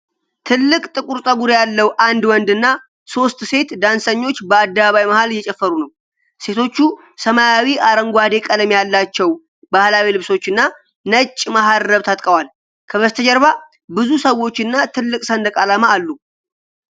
ትልቅ ጥቁር ፀጉር ያለው አንድ ወንድና ሦስት ሴት ዳንሰኞች በአደባባይ መሃል እየጨፈሩ ነው። ሴቶቹ ሰማያዊ አረንጓዴ ቀለም ያላቸው ባህላዊ ልብሶችና ነጭ መሃረብ ታጥቀዋል። ከበስተጀርባ ብዙ ሰዎችና ትልቅ ሰንደቅ ዓላማ አሉ።